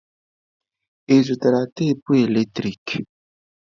Ị zụtara tapụ eletrik?